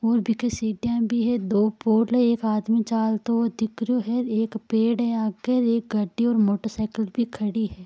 और बहुत सीडिया सी भी है दो पोल है एक आदमी जातो रहा है दिख रहा है एक पेड़ है एक गाड़ी और मोटरसायकल भी खड़ी है।